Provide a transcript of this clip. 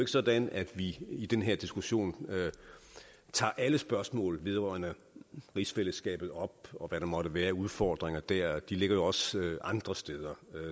sådan at vi i den her diskussion tager alle spørgsmål vedrørende rigsfællesskabet op og hvad der måtte være af udfordringer dér de ligger også andre steder